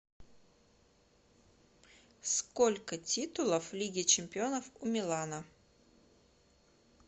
сколько титулов лиги чемпионов у милана